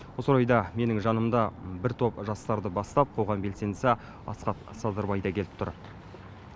осы орайда менің жанымда бір топ жастарды бастап қоғам белсендісі асхат садырбай да келіп тұр